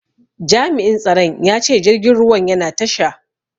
Jami'in tsaron ya ce jirgin ruwan yana tasha.